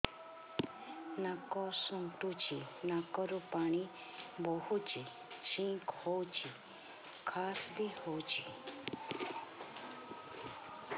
ନାକ ଚୁଣ୍ଟୁଚି ନାକରୁ ପାଣି ବହୁଛି ଛିଙ୍କ ହଉଚି ଖାସ ବି ହଉଚି